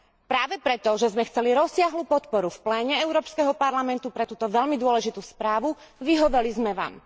Práve preto, že sme chceli rozsiahlu podporu v pléne Európskeho parlamentu pre túto veľmi dôležitú správu, vyhoveli sme vám.